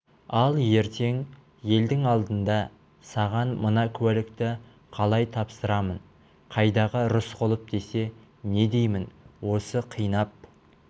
ал ертең елдің алдында саған мына куәлікті қалай тапсырамын қайдағы рысқұлов десе не деймін осы қинап